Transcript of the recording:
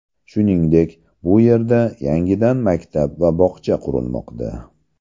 Shuningdek, bu yerda yangidan maktab va bog‘cha qurilmoqda.